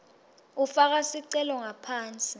ufaka sicelo ngaphansi